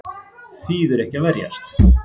Þýðir ekki að verjast